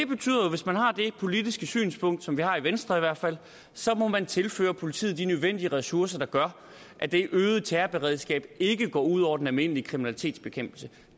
politiske synspunkt som vi har i venstre i hvert fald så må man tilføre politiet de nødvendige ressourcer der gør at det øgede terrorberedskab ikke går ud over den almindelige kriminalitetsbekæmpelse